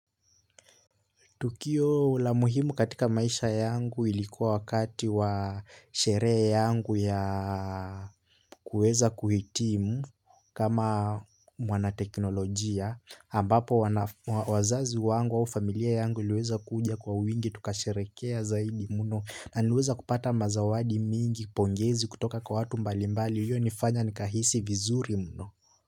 Tukio la muhimu katika maisha yangu ilikuwa wakati wa sherehe yangu ya kuweza kuhitimu. Kama mwanateknolojia ambapo wazazi wangu au familia yangu iliweza kuja kwa wingi tukasherehekea zaidi mno na niliweza kupata mazawadi mingi, pongezi kutoka kwa watu mbalimbali ulionifanya nikahisi vizuri mno.